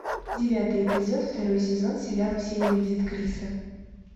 девятый эпизод второй сезон сериал все ненавидят криса